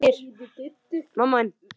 Það lægir.